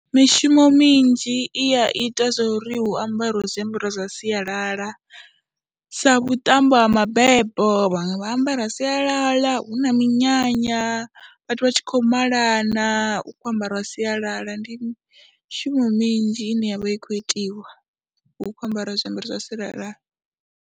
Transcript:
Mishumo minzhi i a ita zwo ri hu ambariwe zwiambaro zwa sialala sa vhuṱambo ha mabebo vhaṅwe vha ambara sialal, a hu na minyanya vhathu vha tshi khou malana, u khou ambariwa sialala. Ndi mishumo minzhi ine ya vha i khou itiwa hu khou ambariwa zwiambaro zwa sialala.